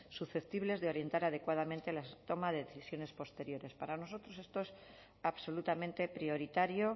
susceptibles de orientar adecuadamente la toma de decisiones posteriores para nosotros esto es absolutamente prioritario